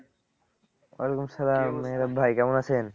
ওয়ালাইকুম সালাম ভাই কেমন আছেন?